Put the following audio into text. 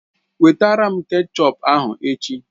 Wetara m kechọp ahụ echi!